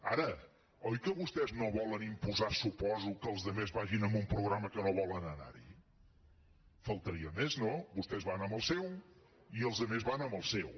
ara oi que vostès no volen imposar suposo que els altres vagin amb un programa que no volen anar hi faltaria més no vostès van amb el seu i els altres van amb el seu